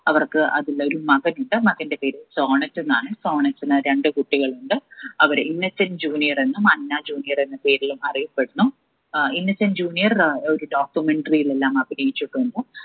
അവർക്ക് അതിലൊരു മകനുണ്ട് മകന്റെ പേര് സോണറ്റ് എന്നാണ് സോണറ്റിന് രണ്ട് കുട്ടികളുണ്ട് അവർ ഇന്നസെന്റ് junior എന്നും അന്ന junior എന്ന പേരിലും അറിയപ്പെടുന്നു അഹ് ഇന്നസെന്റ് junior ഒരു documentary ലെല്ലാം അഭിനയിച്ചിട്ടുണ്ട്